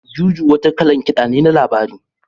Juju wata kalan kiɗan ne na labari.